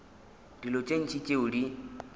dilo tše ntši tšeo di